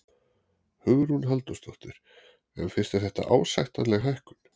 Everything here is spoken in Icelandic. Hugrún Halldórsdóttir: En finnst þér þetta ásættanleg hækkun?